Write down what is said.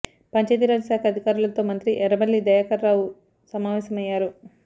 పంచాయతీరాజ్ శాఖ అధికారులతో మంత్రి ఎర్రబెల్లి దయాకర్ రావు సమావేశమయ్యారు